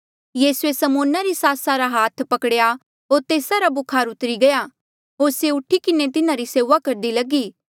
यीसूए समौना री सासा रा हाथ पकड़ेया होर तेस्सा रा बुखार उतरी गया होर से उठी किन्हें तिन्हारी सेऊआ करदी लगी